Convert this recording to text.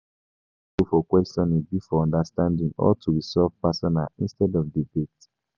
Make di goal for questioning be for understanding or to resolve personal instead of debate